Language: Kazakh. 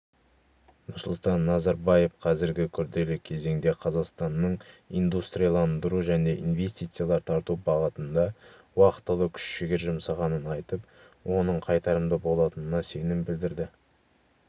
нұрсұлтан назарбаев қазіргі күрделі кезеңде қазақстанның индустрияландыру және инвестициялар тарту бағытында уақтылы күш-жігер жұмсағанын айтып оның қайтарымды болатынына сенім білдірді